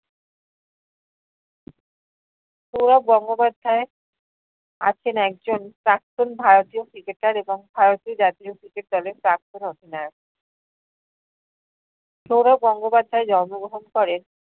সৌরভ গঙ্গোপাধ্যাইয়ের আছেন একজন প্রাক্তন ভারতীয় cricketer এবং ভারতীয় জাতীয় cricket দলের প্রাক্তন অধিনায়ক। সৌরভ গঙ্গোপাধ্যায় জন্মগ্রহণ করেন